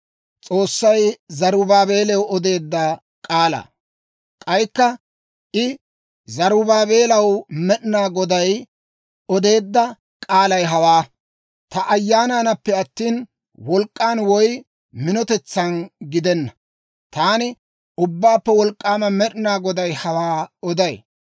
K'aykka I, «Zarubaabeelaw Med'inaa Goday odeedda k'aalay hawaa; ‹Ta Ayyaanaanappe attina, wolk'k'an woy minotetsan gidenna. Taani Ubbaappe Wolk'k'aama Med'inaa Goday hawaa oday.